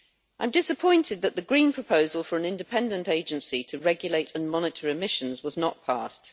I am disappointed that the Green proposal for an independent agency to regulate and monitor emissions was not passed.